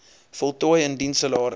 voltooi indien salaris